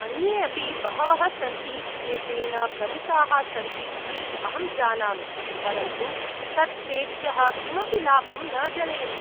अन्ये अपि बहवः सन्ति ये तेन भ्रमिताः सन्ति इति अहं जानामि, परन्तु तत् तेभ्यः किमपि लाभं न जनयति।